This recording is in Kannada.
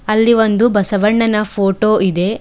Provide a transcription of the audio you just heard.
ಅಲ್ಲಿ ಒಂದು ಬಸವಣ್ಣನ ಫೋಟೋ ಇದೆ.